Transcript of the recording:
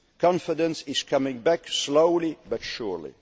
pace. Confidence is coming back, slowly